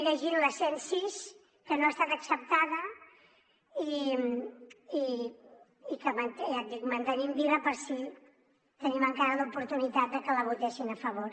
llegir la cent i sis que no ha estat acceptada i que ja ho dic mantenim viva per si tenim encara l’oportunitat de que la votessin a favor